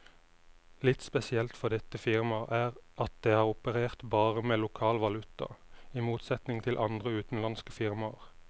Litt spesielt for dette firmaet er at det har operert bare med lokal valuta, i motsetning til andre utenlandske firmaer.